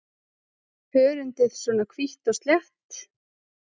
Hörundið svona hvítt og slétt?